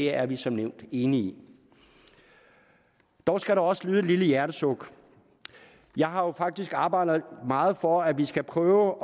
er vi som nævnt enige dog skal der også lyde et lille hjertesuk jeg har jo faktisk arbejdet meget for at vi skal prøve